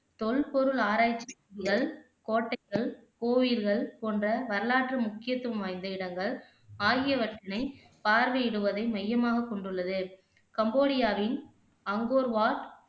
தொல்பொருள் ஆராய்ச்சி கோட்டைகள், கோயில்கள் போன்ற வரலாற்று முக்கியத்துவம் வாய்ந்த இடங்கள் ஆகியவற்றினை பார்வையிடுவதை மையமாக கொண்டுள்ளது கம்போடியாவின் அங்கோர்வாட்